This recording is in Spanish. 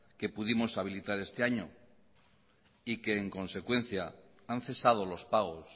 que pudimos habilitar este año y que en consecuencia han cesado los pagos